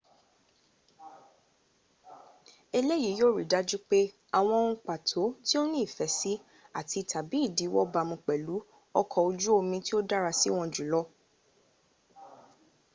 eleyii yio ri daju pe awon ohun pato ti o ni ife si ati/tabi idiwo bamu pelu oko oju omi tio dara siwon jul